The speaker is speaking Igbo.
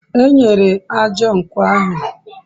enyere ájá nkwo ahu